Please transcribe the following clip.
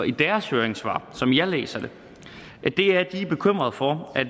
i deres høringssvar som jeg læser det de er bekymrede for at